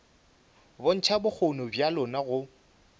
bontšha bokgoni bja lona go